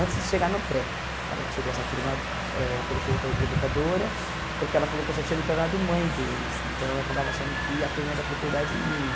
Antes de chegar no pré, ela tirou essa turma, eh colocou outra educadora, porque ela falou que eu já tinha me tornado mãe deles, então eu acabava achando que a turma era propriedade minha.